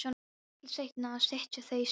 Litlu seinna sitja þau í strætó.